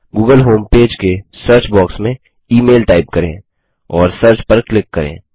Google home page के search box में email type करें और सर्च पर क्लिक करें